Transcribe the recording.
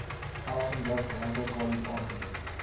elsenburg landboukollege aangebied